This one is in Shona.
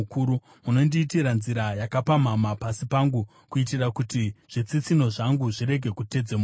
Munondiitira nzira yakapamhama pasi pangu, kuitira kuti zvitsitsinho zvangu zvirege kutedzemuka.